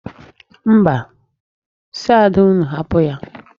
Mba, si Ada unu hapụ ya.